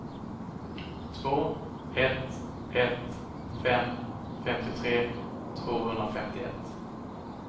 två ett ett fem femtiotre tvåhundrafemtioett